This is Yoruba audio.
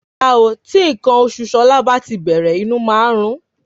rárá o tí nkan oṣù Ṣọlá bá tí bèrè inú máa nrún